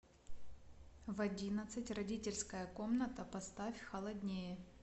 в одиннадцать родительская комната поставь холоднее